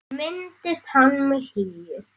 Ég minnist hans með hlýju.